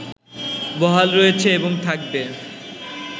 বহাল রয়েছে এবং থাকবে